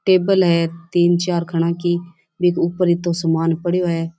Table है तीन चार खना की ऊपर इतो सामान पड़े है।